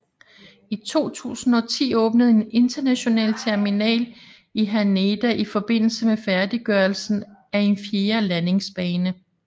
I 2010 åbnede en international terminal i Haneda i forbindelse med færdiggørelsen af en fjerde landingsbane